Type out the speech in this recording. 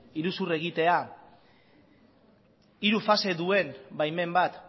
iruzur egitea hiru fase duen baimen bat